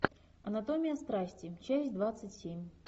анатомия страсти часть двадцать семь